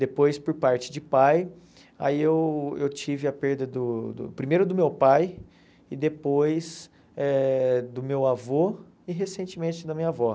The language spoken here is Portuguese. Depois, por parte de pai, aí eu eu tive a perda do do, primeiro do meu pai, e depois eh do meu avô e recentemente da minha avó.